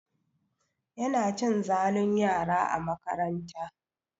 Yana cin zalun yara a makaranta.